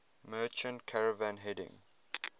merchant caravan heading